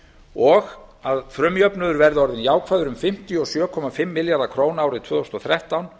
og að frumjöfnuður verði orðinn jákvæður um fimmtíu og sjö komma fimm milljarða króna árið tvö þúsund og þrettán